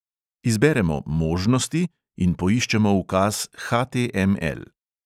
Izberemo možnosti in poiščemo ukaz HTML.